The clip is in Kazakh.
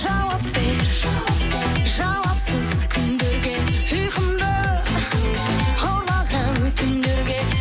жауап бер жауапсыз күндерге ұйқымды ұрлаған түндерге